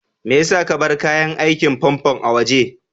Maya sa ka bar kayan aikin famfo a waje?